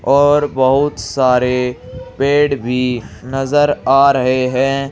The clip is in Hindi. और बहुत सारे पेड़ भी नजर आ रहे हैं।